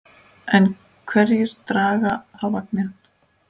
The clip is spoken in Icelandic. En hverjir draga þá vagninn?